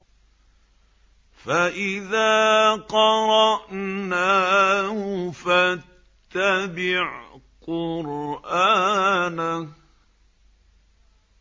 فَإِذَا قَرَأْنَاهُ فَاتَّبِعْ قُرْآنَهُ